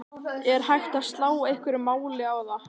Er hægt að slá einhverju máli á það?